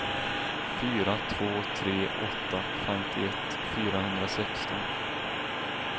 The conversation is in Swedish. fyra två tre åtta femtioett fyrahundrasexton